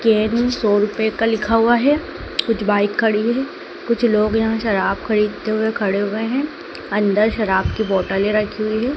Caring सौ रुपए का लिखा हुआ है कुछ बाइक खड़ी है कुछ लोग यहां शराब खरीदते हुए खड़े हुए हैं अंदर शराब की बोतले रखी हुई है।